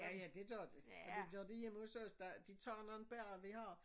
Ja ja det gør de og det gør de hjemme hos os de tager nogen bær vi har